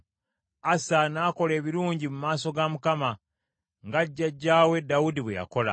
Asa n’akola ebirungi mu maaso ga Mukama , nga jjajjaawe Dawudi bwe yakola.